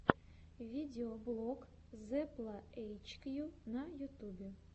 видеоблог зепла эйчкью на ютубе